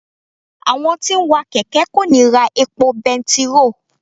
Àwọn tí ń wa kẹ̀kẹ́ kò ní ra epo bẹntiróò.